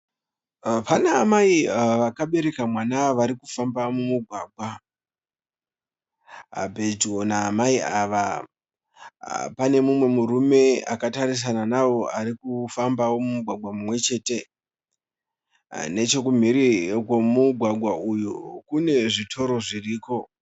Pana amai vakabereka mwana varikufamba mumugwaga. Pedyo naamai ava pane mumwe murume akatarisana nawo arikufambao mumugwaga mumwechete. Nechekumhiri kwemugwagwa uyu kune zvitoro zviriko.